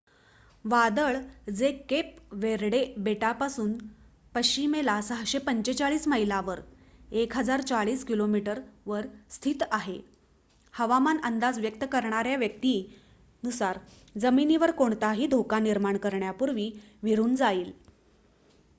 वादळ जे Cape Verde बेटांपासून पश्चिमेला 645 मैलावर 1040 किमी वर स्थित आहे हवामान अंदाज व्यक्त करणाऱ्या व्यक्ती नुसार जमिनीवर कोणताही धोका निर्माण करण्यापूर्वी विरून जाईल